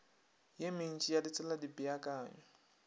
ye mentši ya ditsela dipeakanyo